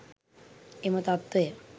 එම තත්වය